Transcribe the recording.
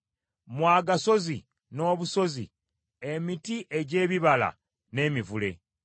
mmwe agasozi n’obusozi, emiti egy’ebibala n’emivule;